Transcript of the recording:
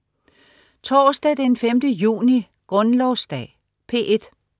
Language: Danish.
Torsdag den 5. juni - Grundlovsdag - P1: